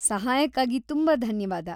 ಸಹಾಯಕ್ಕಾಗಿ ತುಂಬಾ ಧನ್ಯವಾದ.